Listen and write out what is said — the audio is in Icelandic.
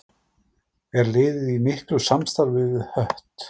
Er liðið í miklu samstarfi við Hött?